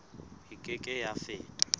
e ke ke ya feta